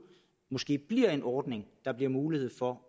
måske bliver en ordning der bliver mulighed for